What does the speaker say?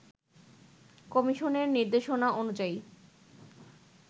কমিশনের নিদের্শনা অনুযায়ী